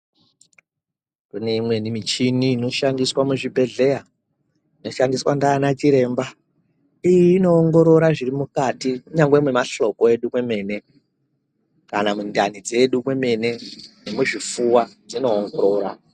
Kune imweni michini inoshandiswa muzvibhedhleya inoshandiswa ngaana chiremba. Inoongorora zviri mukati kunyangwe mamahloko edu kwemene. Kana mundani dzedu kwenene nemuzvifuva dzinoongorora.